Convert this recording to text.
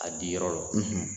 A di yɔrɔ lɔ